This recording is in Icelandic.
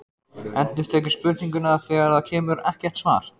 Endurtekur spurninguna þegar það kemur ekkert svar.